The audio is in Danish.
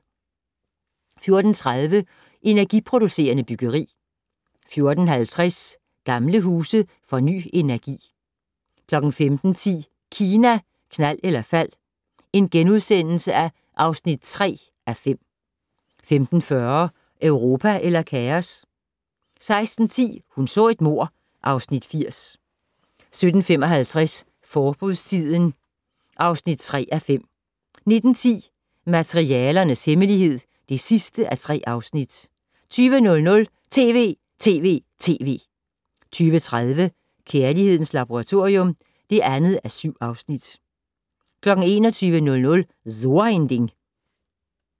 14:30: Energiproducerende byggeri 14:50: Gamle huse får ny energi 15:10: Kina, knald eller fald (3:5)* 15:40: Europa eller kaos? 16:10: Hun så et mord (Afs. 80) 17:55: Forbudstiden (3:5) 19:10: Materialernes hemmelighed (3:3) 20:00: TV!TV!TV! 20:30: Kærlighedens Laboratorium (2:7) 21:00: So ein Ding